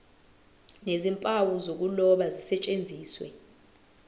nezimpawu zokuloba zisetshenziswe